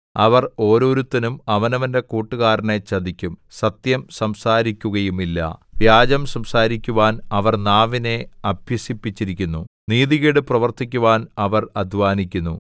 അവർ ഓരോരുത്തനും അവനവന്റെ കൂട്ടുകാരനെ ചതിക്കും സത്യം സംസാരിക്കുകയുമില്ല വ്യാജം സംസാരിക്കുവാൻ അവർ നാവിനെ അഭ്യസിപ്പിച്ചിരിക്കുന്നു നീതികേട് പ്രവർത്തിക്കുവാൻ അവർ അദ്ധ്വാനിക്കുന്നു